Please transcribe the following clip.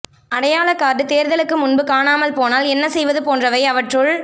அடையாளக் கார்டு தேர்தலுக்கு முன்பு காணாமல் போனால் என்ன செய்வது போன்றவை அவற்றுள்